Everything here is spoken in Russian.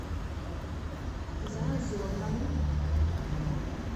заозерному